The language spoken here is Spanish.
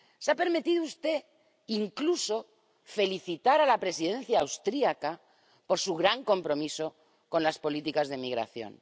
Se ha permitido usted incluso felicitar a la Presidencia austriaca por su gran compromiso con las políticas de migración.